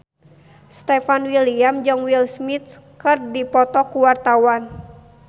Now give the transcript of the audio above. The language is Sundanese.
Stefan William jeung Will Smith keur dipoto ku wartawan